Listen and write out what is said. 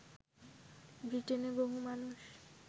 ব্রিটেনে বহু মানুষ